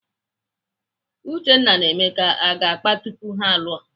Uchenna na Emeka aga akpa tupu ha alụọ?